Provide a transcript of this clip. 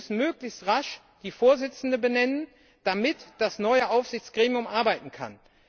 Wir müssen möglichst rasch die Vorsitzenden benennen, damit das neue Aufsichtsgremium arbeiten kann.